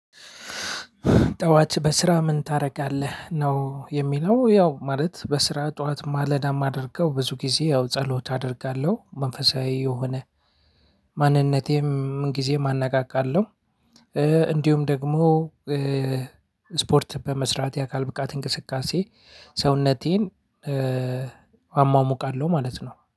ጠዋት በስራ ምን ታደርጋለህ ነው? የሚለው ያው ማለት በስራ ጠዋት ማለዳ የማደርገው ብዙ ጊዜ ያው ጸሎት አደርጋለሁ። መንፈሳዊ የሆነ ማንነቴም ምን ጊዜም አነቃቃለሁ። እንዲሁም ደግሞ ስፖርት በመስራት የአካል ብቃት እንቅስቃሴ ሰውነቴን። አሟሙቃለሁ ማለት ነው